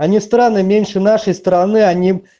они странно меньше нашей стороны они